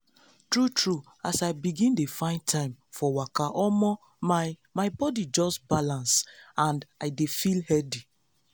true true as i begin dey find time for waka omo my my body just balance and i dey feel healthy.